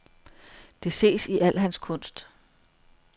Det ses i al hans kunst.